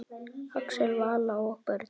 Axel, Vala og börn.